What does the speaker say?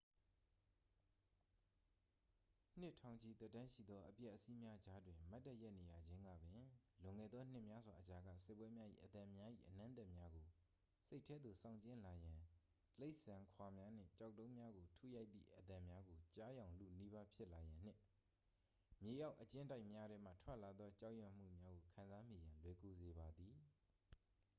နှစ်ထောင်ချီသက်တမ်းရှိသောအပျက်အစီးများကြားတွင် မတ်တပ်ရပ်နေရခြင်းကပင် လွန်ခဲ့သောနှစ်များစွာအကြာက စစ်ပွဲများ၏ အသံများ၏အနံ့အသက်များကို စိတ်ထဲသို့ဆောင်ကြဉ်းလာရန် တိရစ္ဆာန်ခွာများနှင့် ကျောက်တုံးများကိုထုရိုက်သည့်အသံများကို ကြားယောင်လုနီးပါးဖြစ်လာရန်နှင့် မြေအောက်အကျဉ်းတိုက်များထဲမှထွက်လာသောကြောက်ရွံ့မှုများကို ခံစားမိရန် လွယ်ကူစေပါသည်